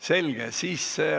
Selge.